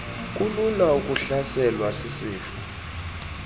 kulula ukuhlaselwa sisifo